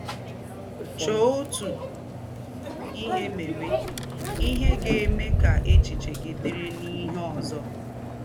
Chọ̀ọ́ otu ihe meéwe — ihe ga-eme ka échiche gị dị̀rị́ n’íhe ózọ.